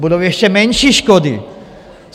Budou ještě menší škody.